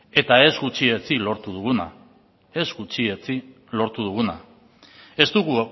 eta ez gutxietsi lortu duguna ez gutxietsi lortu duguna ez dugu